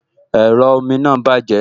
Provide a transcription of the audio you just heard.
Ẹ̀rọ omi náà bàjẹ́